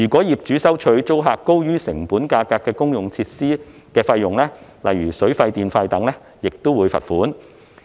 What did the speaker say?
業主如收取租客高於成本價格的公用設施費用，例如水費、電費等，亦可處罰款。